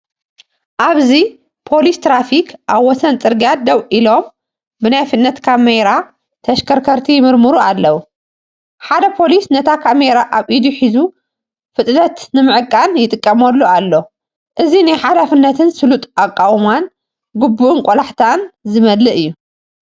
ኣብዚ ፖሊስ ትራፊክ ኣብ ወሰን ጽርግያ ደው ኢሎም ብናይ ፍጥነት ካሜራ ተሽከርከርቲ ይምርምሩ ኣለዉ። ሓደ ፖሊስ ነታ ካሜራ ኣብ ኢዱ ሒዙ ፍጥነት ንምዕቃን ይጥቀመሉ ኣሎ። እዚ ናይ ሓላፍነትን ስሉጥ ኣቃውማን፣ ግቡእን ቆላሕታን ዝመልአ እዩ።